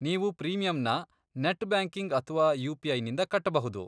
ನೀವು ಪ್ರೀಮಿಯಮ್ನ net banking ಅಥ್ವಾ ಯು.ಪಿ.ಐ.ನಿಂದ ಕಟ್ಬಹುದು.